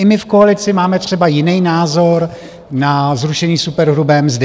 I my v koalici máme třeba jiný názor na zrušení superhrubé mzdy.